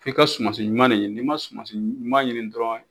F'i ka sumansi ɲuman ɲini, n'i ma sumasiɲuman ɲini dɔrɔnw